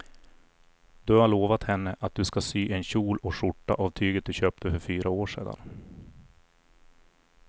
Du har lovat henne att du ska sy en kjol och skjorta av tyget du köpte för fyra år sedan.